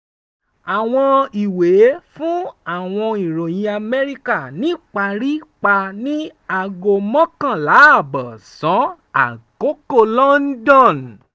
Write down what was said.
awọn iwe fun awọn iroyin amẹrika nipari pa ni ago mokonla aabo osan akoko london.